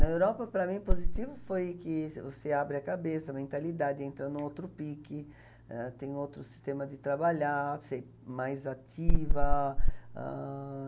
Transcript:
Na Europa, para mim, positivo foi que você abre a cabeça, a mentalidade entra em um outro pique, ah, tem outro sistema de trabalhar, você é mais ativa. Ãh...